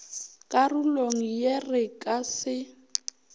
karolong ye re ka se